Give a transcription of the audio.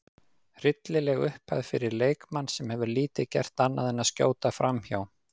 Hryllileg upphæð fyrir leikmann sem hefur lítið gert annað en að skjóta framhjá.